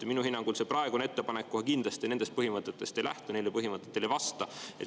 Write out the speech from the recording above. Minu hinnangul see praegune ettepanek kohe kindlasti nendest põhimõtetest ei lähtu ega neile põhimõtetele ei vasta.